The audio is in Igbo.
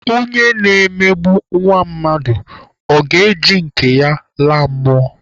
Ọnye na-emegbu nwa mmadụ, ọ ga-eji nke ya laa mmụọ?